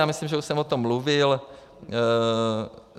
Já myslím, že už jsem o tom mluvil.